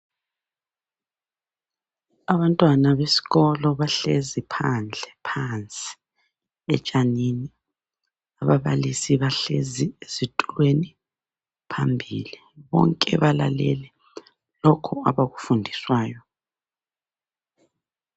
Abantwana besikolo bahlezi phandle phansi etshanini. Ababalisi bahlezi ezitulweni phambili. Bonke balalele lokhu abakufundiswayo.